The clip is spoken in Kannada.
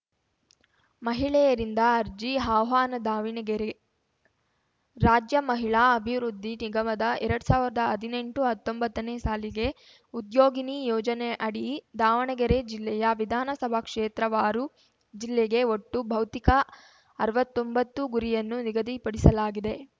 ಮಹಿಳೆಯರಿಂದ ಅರ್ಜಿ ಆಹ್ವಾನ ದಾವಣಗೆರೆ ರಾಜ್ಯ ಮಹಿಳಾ ಅಭಿವೃದ್ಧಿ ನಿಗಮದ ಎರಡ್ ಸಾವಿರ್ದಾ ಹದ್ನೆಂಟುಹತ್ತೊಂಬತ್ತನೇ ಸಾಲಿಗೆ ಉದ್ಯೋಗಿನಿ ಯೋಜನೆಅಡಿ ದಾವಣಗೆರೆ ಜಿಲ್ಲೆಯ ವಿಧಾನಸಭಾ ಕ್ಷೇತ್ರವಾರು ಜಿಲ್ಲೆಗೆ ಒಟ್ಟು ಭೌತಿಕ ಅರ್ವತೊಂಬತ್ತು ಗುರಿಯನ್ನು ನಿಗದಿಪಡಿಸಲಾಗಿದೆ